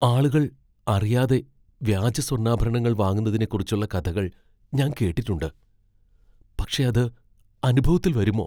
ആളുകൾ അറിയാതെ വ്യാജ സ്വർണ്ണാഭരണങ്ങൾ വാങ്ങുന്നതിനെക്കുറിച്ചുള്ള കഥകൾ ഞാൻ കേട്ടിട്ടുണ്ട്, പക്ഷെ അത് അനുഭവത്തിൽ വരുമോ?